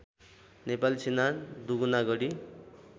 नेपाली सेना दुगुनागढी